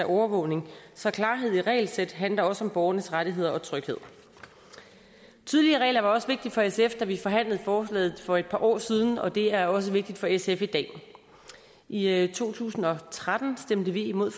overvåget så klarhed i regelsæt handler også om borgernes rettigheder og tryghed tydelige regler var også vigtigt for sf da vi forhandlede forslaget for et par år siden og det er også vigtigt for sf i dag i to tusind og tretten stemte vi imod